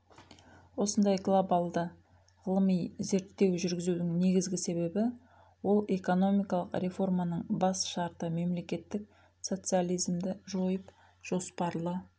осындай глобалды ғылыми зерттеу жүргізудің негізгі себебі ол экономикалық реформаның бас шарты мемлекеттік социализмді жойып жоспарлы